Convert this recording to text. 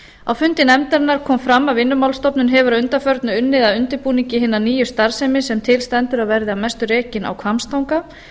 á fundi nefndarinnar kom fram að vinnumálastofnun hefur að undanförnu unnið að undirbúningi hinna nýju starfsemi sem til stendur að verði að mestu rekin á hvammstanga